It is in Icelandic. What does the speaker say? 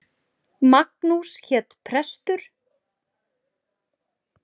Magnús hét prestur.